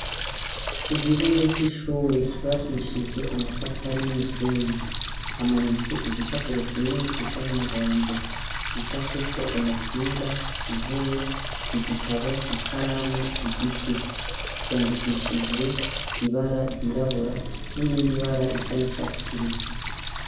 Ku gihome c'ishure cubakishije amatafari n'umusenyi hamanitse igipapuro kinini gisa n'umuhondo. Gicafyeko umupira, intebe, igitabo, ikaramu , igiti. Vyandikishije ibara ryirabura n'irindi bara risa n'icatsi kibisi.